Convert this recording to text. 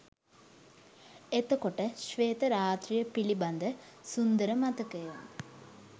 එතකොට ශ්වේත රාත්‍රිය පිළිබඳ සුන්දර මතකය